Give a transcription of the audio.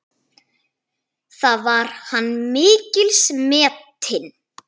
Þar var hann mikils metinn.